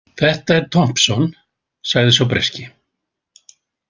Þetta er Thompson, sagði sá breski.